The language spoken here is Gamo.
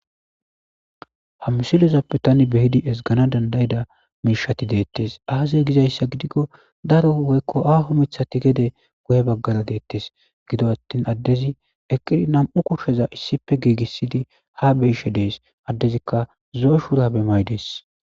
Ha mssilozappe tani beyidi esgana dandayida miishati deettes aazey gizayssa gidikko daro woykko aho mithati gede guye baggara deettes gido attin addezi eqqidi nam7u kushsheza issipe giigissidi ha beyishe dees addezikka zo7o shuurabe may dees.